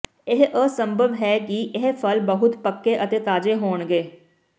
ਇਹ ਅਸੰਭਵ ਹੈ ਕਿ ਇਹ ਫਲ ਬਹੁਤ ਪੱਕੇ ਅਤੇ ਤਾਜ਼ੇ ਹੋਣਗੇ